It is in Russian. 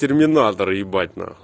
терминаторы ебать нахуй